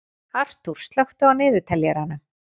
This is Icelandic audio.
Arthúr, slökktu á niðurteljaranum.